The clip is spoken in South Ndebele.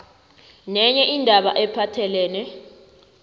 nenye indaba ephathelene